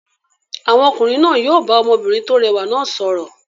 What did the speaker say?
Àwọn ọkùnrin náà yóò bá ọmọbìnrin tó rẹwà náà sọ̀rọ̀.